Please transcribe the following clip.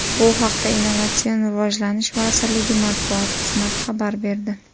Bu haqda Innovatsion rivojlanish vazirligi matbuot xizmati xabar berdi .